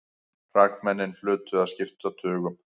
Hrakmennin hlutu að skipta tugum.